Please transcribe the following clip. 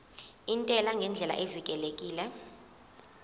intela ngendlela evikelekile